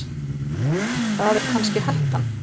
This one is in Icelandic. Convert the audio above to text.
Það er kannski hættan.